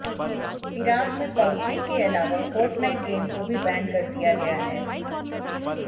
Iraq में PUBG के अलावा फोर्टनाइट गेम को भी बैन कर दिया गया है